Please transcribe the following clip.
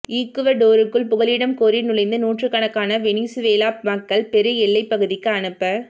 ஈக்குவடோருக்குள் புகலிடம் கோரி நுழைந்த நூற்றுக்கணக்கான வெனிசுவேலா மக்கள் பெரு எல்லைப் பகுதிக்கு அனுப